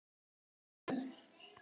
Hvað bendir til þess?